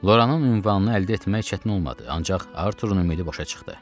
Loranın ünvanını əldə etmək çətin olmadı, ancaq Arthurun ümidi boşa çıxdı.